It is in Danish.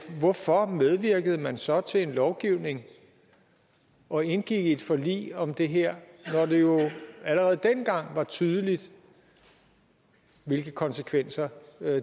hvorfor medvirkede man så til en lovgivning og indgik i et forlig om det her når det jo allerede dengang var tydeligt hvilke konsekvenser